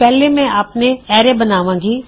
ਪਹਿਲਾ ਮੈਂ ਆਪਣਾ ਐਰੇ ਬਣਾਵਾਂਗਾ